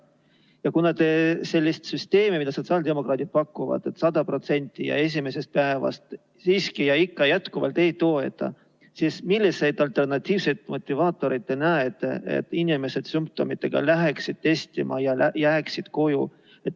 Ja kuna te sellist süsteemi, mida sotsiaaldemokraadid pakuvad, et hüvitada 100% ja esimesest päevast, siiski jätkuvalt ei toeta, siis milliseid alternatiivseid motivaatoreid te näete, et inimesed sümptomitega läheksid testima ja jääksid koju?